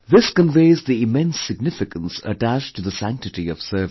This conveys the immense significance attached to the sanctity of service